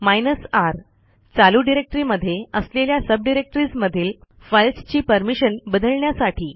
hyphen R चालू directory मध्ये असलेल्या सबडिरेक्टरीज मधील फाईल्सची परमिशन बदलण्यासाठी